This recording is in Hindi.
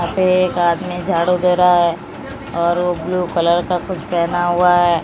यहां पे एक आदमी झाड़ू दे रहा है और वो ब्लू कलर का कुछ पहना हुआ है।